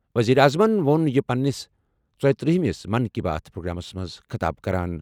ؤزیٖرِ اعظمن ووٚن یہِ پنٛنِس ژۄیترٛہ مِس من کی بات پرٛوگرامس منٛز خطاب کران۔